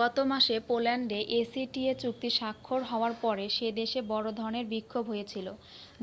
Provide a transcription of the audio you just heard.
গত মাসে পোল্যান্ডে acta চুক্তি স্বাক্ষর হওয়ার পরে সে দেশে বড় ধরনের বিক্ষোভ হয়েছিল